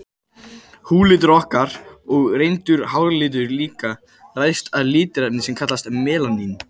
Húðlitur okkar, og reyndar háralitur líka, ræðst af litarefni sem kallast melanín.